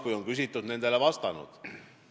Kui on küsitud, siis olen vastanud.